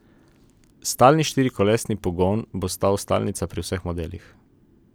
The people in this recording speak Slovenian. Stalni štirikolesni pogon bo ostal stalnica pri vseh modelih.